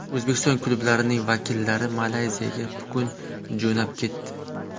O‘zbekiston klublarining vakillari Malayziyaga bugun jo‘nab ketdi.